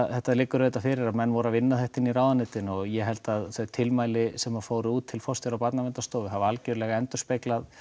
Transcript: þetta liggur auðvitað fyrir að menn voru að vinna þetta í ráðuneytinu og ég held að þau tilmæli sem fóru út til forstjóra Barnaverndastofu hafi algerlega endurspeglað